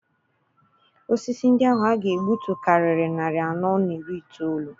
Osisi ndị ahụ a ga-egbutu karịrị narị anọ na iri itoolu.